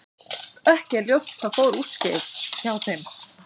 Ekki er ljóst hvað fór úrskeiðis hjá þeim.